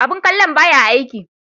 Abun kallon ba ya aiki.